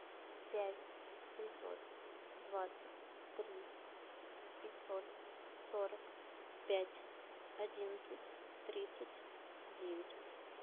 пять семьсот двадцать три пятьсот сорок пять одиннадцать тридцать девять